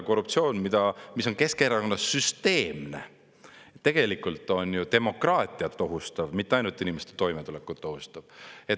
Korruptsioon, mis on Keskerakonnas süsteemne, on tegelikult ju demokraatiat ohustav, mitte ainult inimeste toimetulekut ohustav.